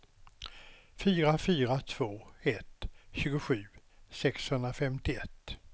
fyra fyra två ett tjugosju sexhundrafemtioett